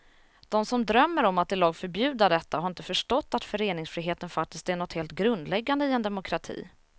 De som drömmer om att i lag förbjuda detta har inte förstått att föreningsfriheten faktiskt är något helt grundläggande i en demokrati.